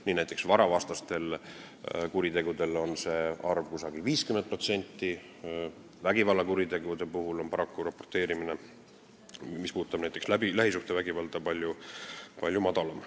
Nii on näiteks varavastastel kuritegudel see kusagil 50%, vägivallakuritegude puhul on raporteerimine, mis puudutab näiteks lähisuhtevägivalda, paraku palju madalam.